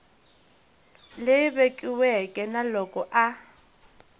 leyi vekiweke na loko a